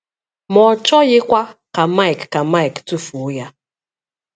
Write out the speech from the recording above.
Ma ọ chọghịkwa ka Mike ka Mike tufuo ya.